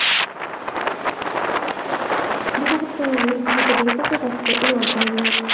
Bu haqda tanlovning Twitter’dagi sahifasida e’lon qilindi .